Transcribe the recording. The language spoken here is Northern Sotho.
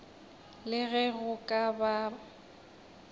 le ge go ka ba